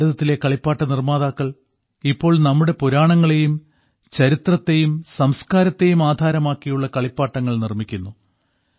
ഭാരതത്തിലെ കളിപ്പാട്ട നിർമ്മാതാക്കൾ ഇപ്പോൾ നമ്മുടെ പുരാണങ്ങളെയും ചരിത്രത്തെയും സംസ്കാരത്തെയും ആധാരമാക്കിയുള്ള കളിപ്പാട്ടങ്ങൾ നിർമ്മിക്കുന്നു